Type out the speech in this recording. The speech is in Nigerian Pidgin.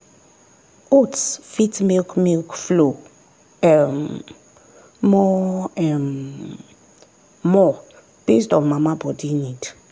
oats fit make milk flow um more um more based on mama body need.